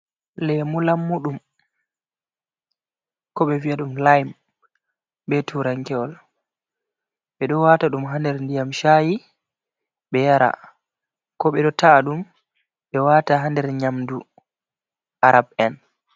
Lemu lammuɗum ko be vi’a ɗum "lime" be turankewol. Ɓeɗo wata ɗum ha nder ndiyam sha'i be yara, ko ɓeɗo ta’a ɗum ɓe wata ha nder nyamdu arab'en.